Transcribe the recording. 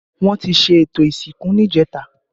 Wọn ti ṣe ètò ìsìnkú ni ìjẹta